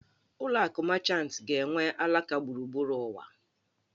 Ụlọ akụ Mechantị ga-enwe alaka gburugburu ụwa